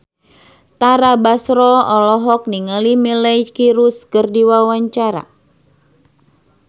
Tara Basro olohok ningali Miley Cyrus keur diwawancara